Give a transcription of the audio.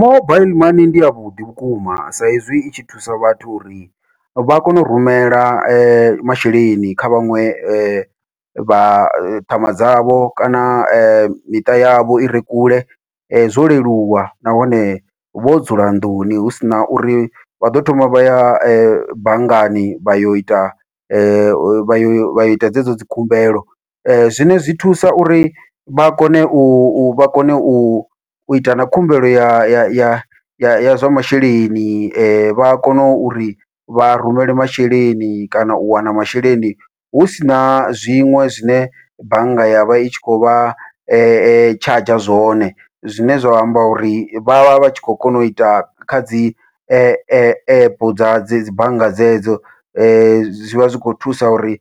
Mobaiḽi mani ndi yavhuḓi vhukuma, sa izwi i tshi thusa vhathu uri vha kone u rumela masheleni kha vhaṅwe vhathu ṱhama dzavho kana miṱa yavho ire kule zwo leluwa, nahone vho dzula nḓuni hu sina uri vha ḓo thoma vha ya banngani vha yo ita vha yo vha yo ita dzedzo dzi khumbelo. Zwine zwi thusa uri vha kone u vha kone u uita na khumbelo ya ya ya zwa masheleni vha a kona uri vha rumele masheleni kana u wana masheleni hu sina zwiṅwe zwine bannga ya vha i tshi khou vha tshadzha zwone, zwine zwa amba uri vha vha vha tshi khou kona uita kha dzi app dza dzi bannga dzedzo dzi zwivha zwikho thusa uri